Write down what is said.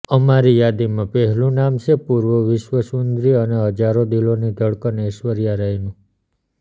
અમારી યાદીમાં પહેલું નામ છે પૂર્વ વિશ્વ સુંદરી અને હજારો દિલોની ધડકન એશ્વર્યા રાયનું